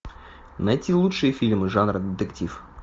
найти лучшие фильмы жанра детектив